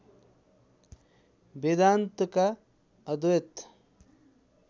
वेदान्तका अद्वैत